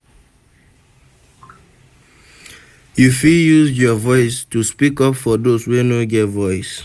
You fit use your voice to speak up for those wey no get voice.